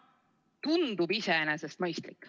Tundub iseenesest mõistlik.